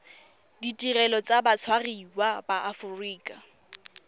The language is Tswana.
ditirelo tsa batshwariwa ba aforika